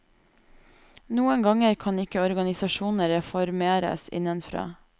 Noen ganger kan ikke organisasjoner reformeres innenfra.